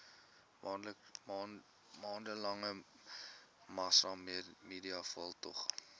maande lange massamediaveldtog